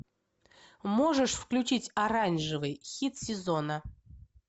можешь включить оранжевый хит сезона